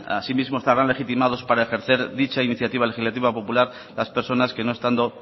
asimismo estarán legitimados para ejercer dicha iniciativa legislativa popular las personas que no estando